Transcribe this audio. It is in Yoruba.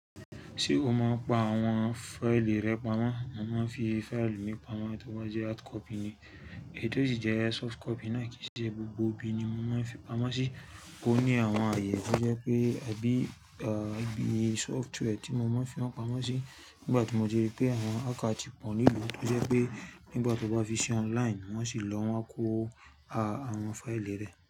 Ṣe o máa ń pa àwọn fáìlì rẹ pamọ́, mo máa ń fi fáìlì mi pamọ́ tò ba jẹ́ hard copy ni. Ètò yìí jẹ́ soft copy náà kì í ṣe gbogbo ibi ni mo máa ń fi pamọ́ sí. Ó ní àwọn ààyè tó jẹ́ pé abí, ibí, software tí mo máa ń fi wọn pamọ́ sí. Nígbà tí mo ti ri pé àwọn hacker ti pọ̀ ní ìlú, tó jẹ́ pé nígbà tí o bá fi sí online, wọ́n sì lọ wọ́n á kó a àwọn fáìlì rẹ.